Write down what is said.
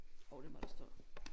Jo det må der stå